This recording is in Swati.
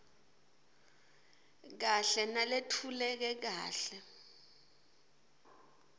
kahle naletfuleke kahle